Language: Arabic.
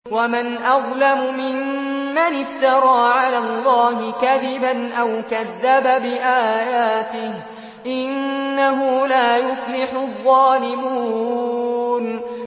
وَمَنْ أَظْلَمُ مِمَّنِ افْتَرَىٰ عَلَى اللَّهِ كَذِبًا أَوْ كَذَّبَ بِآيَاتِهِ ۗ إِنَّهُ لَا يُفْلِحُ الظَّالِمُونَ